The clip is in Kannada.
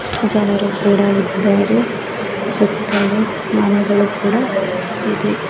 ಜನರು ಕೂಡ ಇದ್ದಾರೆ ಸುತಲು ಮನೆಗಳು ಕೂಡ ಇದೆ.